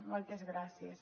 moltes gràcies